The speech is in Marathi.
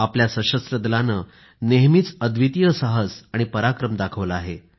आपल्या सशस्त्र दलाने नेहमीच अद्वितीय साहस आणि पराक्रम दाखवला आहे